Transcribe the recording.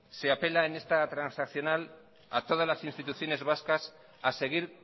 se apela en esta transaccional a todas las instituciones vascas a seguir